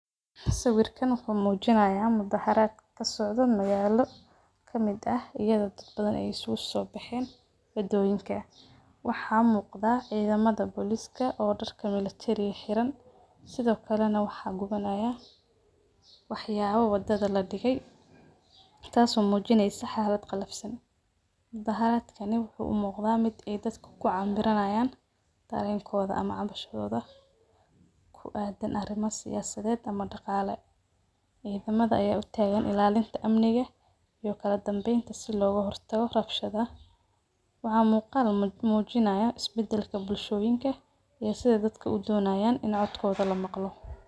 Sawiirkaan wuxuu mujinaaya mudaharad kasocdo magaala, waxaa muuqda cidamada booliska, waxaa gunabanaya wax yaabo wadada ladige, wuxuu ku aadan yahay arimo daqalae iyo siyasadeed, is badalka bulshooyinka iyo sidaay udonayaan in codkooda lamalqo.